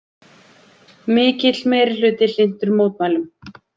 Mikill meirihluti hlynntur mótmælum